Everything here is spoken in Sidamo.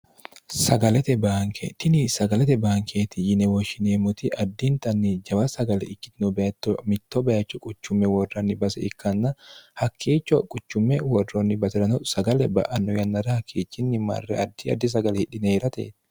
sagalete baanke tini sagalete baankeeti yinewooshshineemmoti addintanni jawa sagale ikkitino beetto mitto bayicho quchumme worronni base ikkanna hakkiicho quchumme worroonni basi'rano sagale ba'anno yannara hakkiichinni marre addi addi sagale hidhineerate